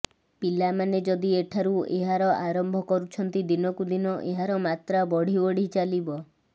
ପିଲାମାନେ ଯଦି ଏଠାରୁ ଏହାର ଆରମ୍ଭ କରୁଛନ୍ତି ଦିନକୁ ଦିନ ଏହାର ମାତ୍ରା ବଢ଼ି ବଢ଼ି ଚାଲିବ